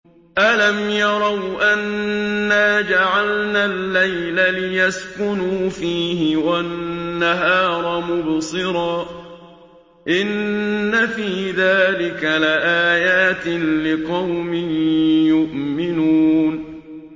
أَلَمْ يَرَوْا أَنَّا جَعَلْنَا اللَّيْلَ لِيَسْكُنُوا فِيهِ وَالنَّهَارَ مُبْصِرًا ۚ إِنَّ فِي ذَٰلِكَ لَآيَاتٍ لِّقَوْمٍ يُؤْمِنُونَ